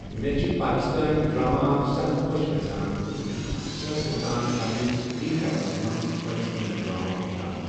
مےٚ چھِ پاکِستٲنۍ ڈرٛاما سَکھ خۄش گژھان تہٕ بہٕ چُھس اکثر روزان پننِس فِرٛی ٹایمَس منٛز پاکِستٲنۍ ڈرٛاما وُچھان۔